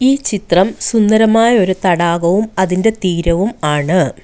ഈ ചിത്രം സുന്ദരമായ ഒരു തടാകവും അതിൻ്റെ തീരവും ആണ്.